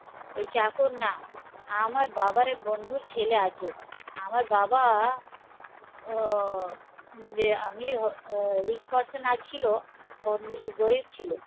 এই চাকর না আমার বাবার এক বন্ধুর ছেলে আছে আমার বাবা ও যে আমি আহ rich person আ ছিল ওর গরীব ছিল